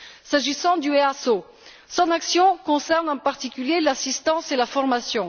S'agissant de l'EASO, son action concerne en particulier l'assistance et la formation.